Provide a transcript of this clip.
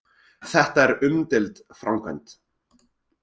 Þetta er umdeild framkvæmd